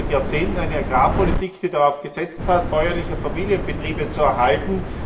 Wir haben seit Jahrzehnten eine Agrarpolitik, die darauf gesetzt hat, bäuerliche Familienbetriebe zu erhalten.